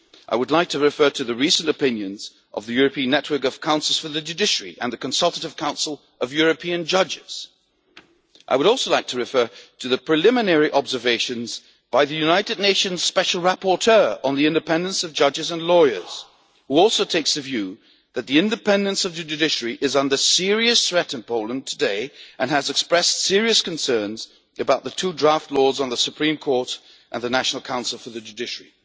I would refer to the recent opinions of the European Network of Councils for the Judiciary and the Consultative Council of European Judges. I would refer, too, to the preliminary observations by the United Nations Special Rapporteur on the independence of judges and lawyers, who also takes the view that the independence of the judiciary is under serious threat in Poland today, and has expressed serious concerns about the two draft laws on the Supreme Court and the National Council for the Judiciary.